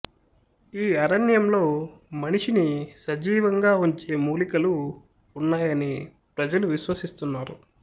ఈ అరణ్యంలో మనిషిని సజీవంగా ఉంచే మూలికలు ఉన్నాయని ప్రజలు విశ్వసిస్తున్నారు